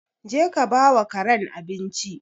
Je ka ba wa karen abinci!